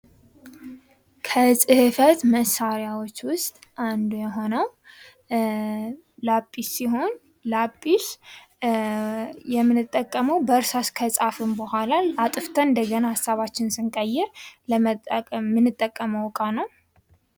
ከፅህፈት መሳሪያዎች ውስጥ አንዱ የሆነው ላጲስ ሲሆን ላጲስ የምንጠቀመው በእርሳስ ከፃህፍን በኋላ አጥፍተን እንደገና ሀሳባችን ስንቀይር ምንጠቀመው እቃ ነው።